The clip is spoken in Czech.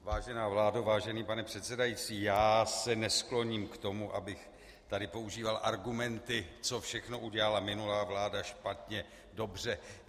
Vážená vládo, vážený pane předsedající, já se neskloním k tomu, abych tady používal argumenty, co všechno udělala minulá vláda špatně, dobře.